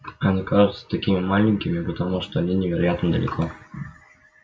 они кажутся такими маленькими потому что они невероятно далеко